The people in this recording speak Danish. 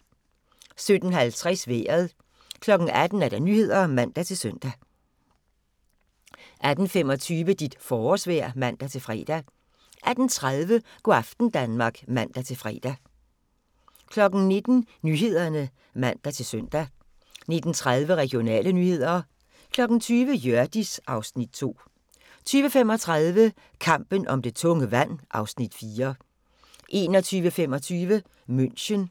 17:50: Vejret 18:00: Nyhederne (man-søn) 18:14: Regionale nyheder (man-fre) 18:25: Dit forårsvejr (man-fre) 18:30: Go' aften Danmark (man-fre) 19:00: Nyhederne (man-søn) 19:30: Regionale nyheder 20:00: Hjørdis (Afs. 2) 20:35: Kampen om det tunge vand (Afs. 4) 21:25: München